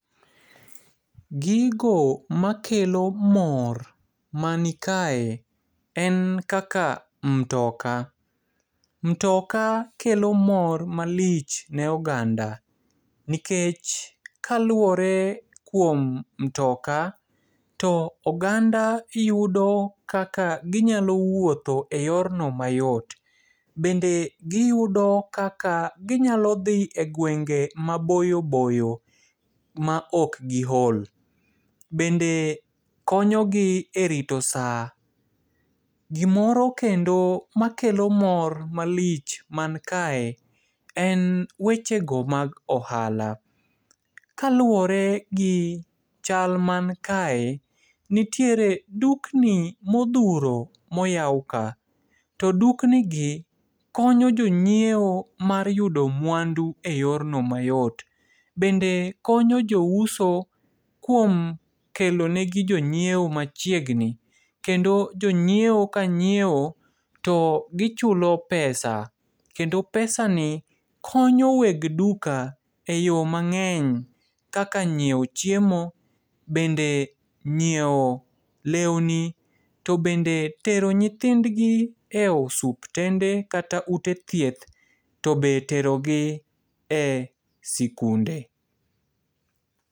Gigo makelo mor manikae, en kaka mtoka. Mtoka kelo mor malich ne oganda, nikech kaluore kuom mtoka, to oganda yudo kaka ginyalo wuotho e yorno mayot. Bende giyudo kaka ginyalo dhi e gwenge maboyoboyo maok giol. Bende konyogi e rito saa. Gimoro kendo makelo mor malich mankae, en wechego mag ohala. Kaluore gi chal mankae, nitiere dukni modhuro moyao ka. To duknigi konyo jonyieo mar yudo mwandu e yorno mayot. Bende konyo jouso kuom kelo negi jonyieo machiegni. Kendo jonyieo kanyieo to gichulo pesa. Kendo pesani, konyo weg duka e yo mang'eny, kaka ng'ieo chiemo, bende ng'ieo leuni, to bende tero nyithindgi e osuptende, kata ute thieth. To be terogi e sikunde.